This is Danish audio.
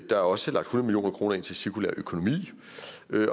der er også lagt hundrede million kroner ind til cirkulær økonomi